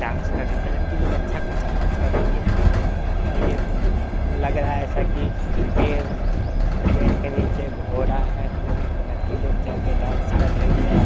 Dance कर रही है लड़की लोग अच्छा-खासा डांस कर रही है। ये लग रहा है ऐसा की पेड़ के नीचे घोडा है और घोड़े पे चढ़ के लड़की लोग डांस कर रही है।